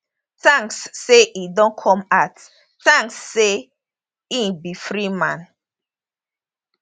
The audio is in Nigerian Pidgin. thanks say e don come out thanks say e be free man